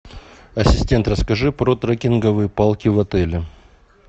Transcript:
ассистент расскажи про трекинговые палки в отеле